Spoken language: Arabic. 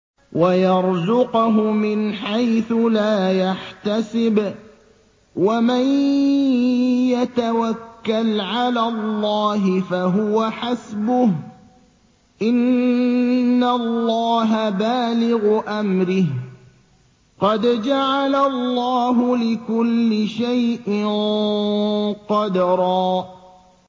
وَيَرْزُقْهُ مِنْ حَيْثُ لَا يَحْتَسِبُ ۚ وَمَن يَتَوَكَّلْ عَلَى اللَّهِ فَهُوَ حَسْبُهُ ۚ إِنَّ اللَّهَ بَالِغُ أَمْرِهِ ۚ قَدْ جَعَلَ اللَّهُ لِكُلِّ شَيْءٍ قَدْرًا